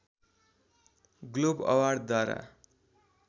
globe अवार्डद्वारा